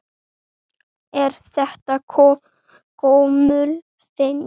Er þetta gömul venja?